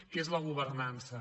que és la governança